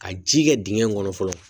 Ka ji kɛ dingɛ in kɔnɔ fɔlɔ